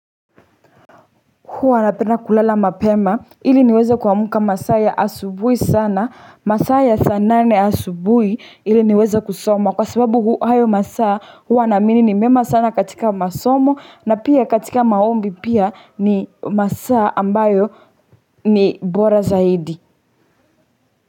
Huwa napenda kulala mapema ili niweza kuwamuka masaa ya asubui sana masaa ya saa nane asubui ili niweza kusoma kwa sababu hayo masaa huwa naamini ni mema sana katika masomo na pia katika maombi pia ni masaa ambayo ni bora zaidi.